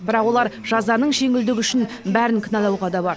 бірақ олар жазаның жеңілдігі үшін бәрін кінәлауға да бар